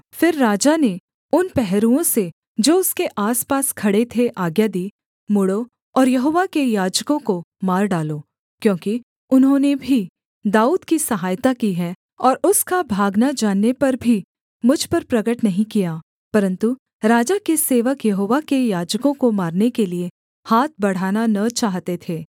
फिर राजा ने उन पहरुओं से जो उसके आसपास खड़े थे आज्ञा दी मुड़ो और यहोवा के याजकों को मार डालो क्योंकि उन्होंने भी दाऊद की सहायता की है और उसका भागना जानने पर भी मुझ पर प्रगट नहीं किया परन्तु राजा के सेवक यहोवा के याजकों को मारने के लिये हाथ बढ़ाना न चाहते थे